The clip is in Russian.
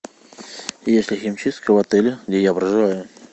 есть ли химчистка в отеле где я проживаю